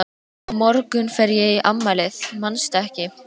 Á morgun fer ég í afmælið, manstu ekki?